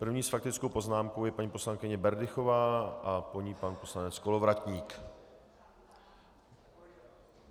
První s faktickou poznámkou je paní poslankyně Berdychová a po ní pan poslanec Kolovratník.